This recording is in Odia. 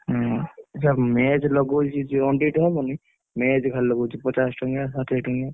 ହଁ ସିଏ match ଲଗଉଛି ଟେ ହବନି match ଖାଲି ଲଗଉଛି ପଚାଶ ଟଙ୍କିଆ ଷାଠିଏ ଟଙ୍କିଆ।